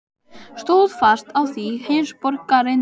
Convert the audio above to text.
Stóð fast á því, heimsborgarinn Lena.